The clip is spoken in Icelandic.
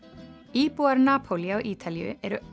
íbúar Napólí á Ítalíu eru